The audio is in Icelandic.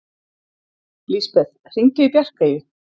Lisbeth, hringdu í Bjarkeyju.